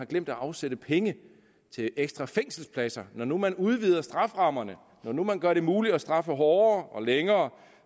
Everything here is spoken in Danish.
glemt at afsætte penge til ekstra fængselspladser når nu man udvider strafferammerne når nu man gør det muligt at straffe hårdere og længere